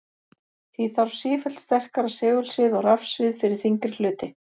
Því þarf sífellt sterkara segulsvið og rafsvið fyrir þyngri hluti.